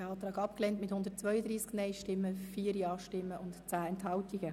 Sie haben den Eventualantrag abgelehnt mit 132 Nein- gegen 4 Ja-Stimmen bei 10 Enthaltungen.